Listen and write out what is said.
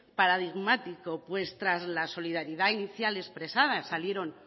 paradigmático pues tras la solidaridad inicial expresada salieron